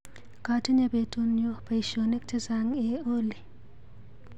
Katinye betunyu baishonik chechang eeh Olly.